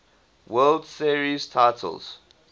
world series titles